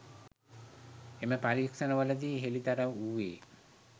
එම පරීක්ෂණවලදී හෙළිදරව් වූයේ